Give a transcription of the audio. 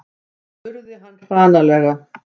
spurði hann hranalega.